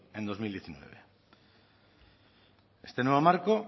en bi mila hemeretzi este nuevo marco